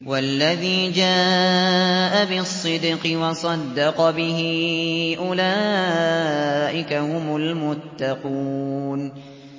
وَالَّذِي جَاءَ بِالصِّدْقِ وَصَدَّقَ بِهِ ۙ أُولَٰئِكَ هُمُ الْمُتَّقُونَ